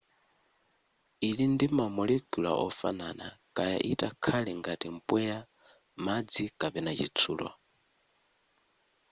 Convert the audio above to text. ili ndi ma molecule ofanana kaya itakhale ngati mpweya madzi kapena chitsulo